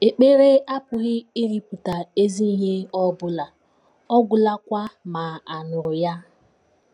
Ekpere apụghị ịrụpụta ezi ihe ọ bụla ọ gwụlakwa ma a nụrụ ya.